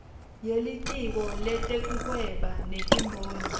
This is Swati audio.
yelitiko letekuhweba netimboni